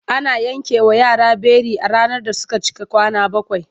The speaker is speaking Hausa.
Ana yankewa yara beli a ranar da suka cika kwana bakwai.